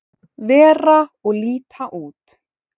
vera og líta út.